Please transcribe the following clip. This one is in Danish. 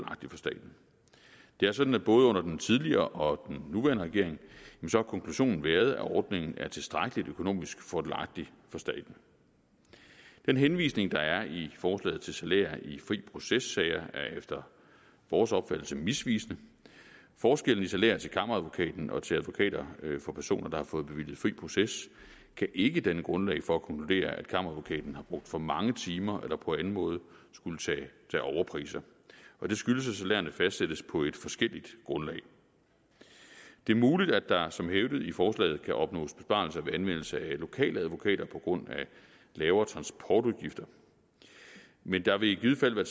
staten det er sådan at både under den tidligere og den nuværende regering har konklusionen været at ordningen er tilstrækkelig økonomisk fordelagtig for staten den henvisning der er i forslaget til salær i fri proces sager er efter vores opfattelse misvisende forskellen i salær til kammeradvokaten og til advokater for personer der har fået bevilget fri proces kan ikke danne grundlag for at konkludere at kammeradvokaten har brugt for mange timer eller på anden måde skulle tage overpriser det skyldes at salærerne fastsættes på et forskelligt grundlag det er muligt at der som hævdet i forslaget kan opnås besparelser ved anvendelse af lokale advokater på grund af lavere transportudgifter men der vil i givet fald være